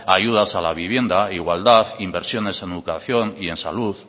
ayudas a la vivienda igualdad inversiones en educación y en salud